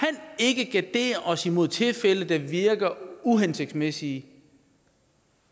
ikke gardere os imod tilfælde der virker uhensigtsmæssige